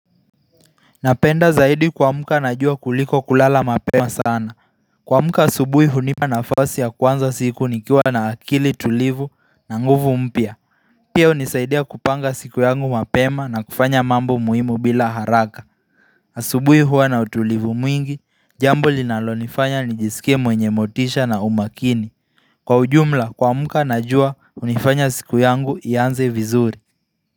Napenda zaidi kuamka na jua kuliko kulala mapema sana. Kuamka asubuhi hunipa nafasi ya kuanza siku nikiwa na akili tulivu na nguvu mpya. Pia hunisaidia kupanga siku yangu mapema na kufanya mambo muhimu bila haraka asubuhi hua na utulivu mwingi, jambo linalonifanya nijisikie mwenye motisha na umakini. Kwa ujumla kuamka najua hunifanya siku yangu ianze vizuri.